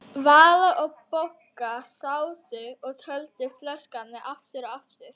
Vala og Bogga sátu og töldu flöskurnar aftur og aftur.